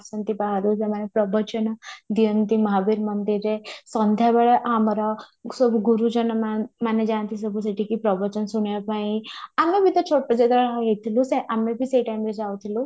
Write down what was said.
ଆସନ୍ତି ବାହାରୁ ସେମାନେ ପ୍ରବଚନ ଦିଅନ୍ତି ମହାବୀର ମନ୍ଦିରରେ ସନ୍ଧ୍ୟା ବେଳେ ଆମର ସବୁ ଗୁରୁଜନ ମାନେ ମାନେ ଯାଆନ୍ତି ସବୁ ସେଠିକି ପ୍ରବଚନ ଶୁଣିବା ପାଇଁ ଆମେ ବି ତ ଛୋଟ ଯେତେବେଳେ ହଇଥିଲୁ ସେ ଆମେ ବି ସେ time ରେ ଯାଉଥିଲୁ